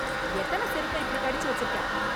எத்தனை செருப்பை இப்படி கடிச்சு வச்சிருக்க